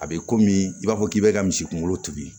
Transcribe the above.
A bɛ komi i b'a fɔ k'i bɛ ka misi kunkolo tugu